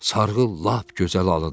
Sarğı lap gözəl alındı.